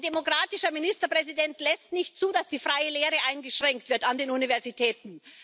Ein demokratischer Ministerpräsident lässt nicht zu, dass die freie Lehre eingeschränkt wird an den Universitäten.